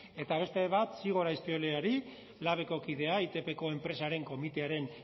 eta beste bat zigor azpioleari labeko kidea itpko enpresaren komitearen